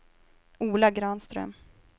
Ola Granström